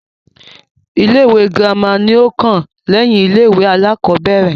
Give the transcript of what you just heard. Ilé-ìwé girima ni ó kàn lẹ́yìn ilé-ìwé aláàkọ́bẹ̀rẹ̀.